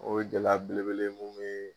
O ye gɛlɛya belebele ye mun be